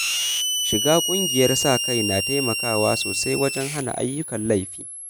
Shiga ƙungiyar sa-kai na taimakawa sosai wajen hana ayyukan laifi.